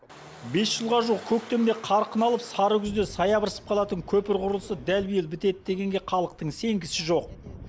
бес жылға жуық көктемде қарқын алып сары күзде саябырсып қалатын көпір құрылысы дәл биыл бітеді дегенге халықтың сенгісі жоқ